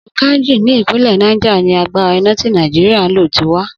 Odò Kainji ní ìpínlè̩ Niger ni agbára iná tí Nàìjíríà ń lò ti wá.